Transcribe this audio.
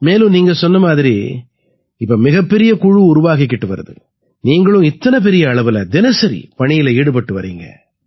மேலும் நீங்க சொன்ன மாதிரி இப்ப மிகப்பெரிய குழு உருவாகிக்கிட்டு வருது நீங்களும் இத்தனை பெரிய அளவுல தினசரி பணியில ஈடுபட்டு வர்றீங்க